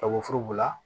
Ka woforo bila